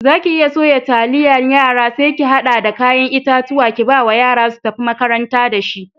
Zaki iya suya taliyar yara sai ki hada da kayan itatuwa kibawa yara su tafi makaranta da shi.